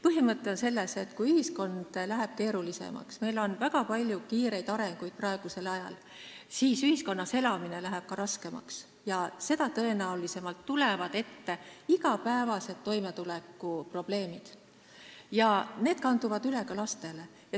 Põhimõte on selles, et kui ühiskond läheb keerulisemaks – meil on väga kiire areng praegusel ajal –, siis ühiskonnas elamine läheb raskemaks ja seda tõenäolisemalt tulevad ette igapäevased toimetulekuprobleemid, mis kanduvad üle ka lastele.